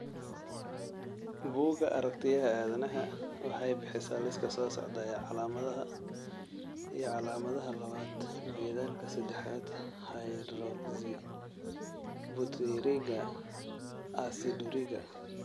Bugga Aartigayaha Aadanaha waxay bixisaa liiska soo socda ee calaamadaha iyo calaamadaha labad methylka sedexad hydroxybutyriga aciduriga.